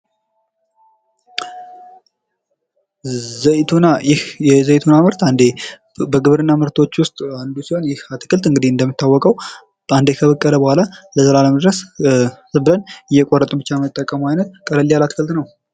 ዘይቶና ይህ የዘይቶና ምርት አንዴ በግብርና ምርቶች ውስጥ አንዱ ሲሆን ይህ አትክልት እንግዲህ እንደሚታወቀው አንዴ ከበቀለ በኋላ ዘላለሙ ድረስ ዝም ብለን እየቆረጥን ብቻ የምንጠቀመው አይነት ቀለል ያለ አትክልት ነው።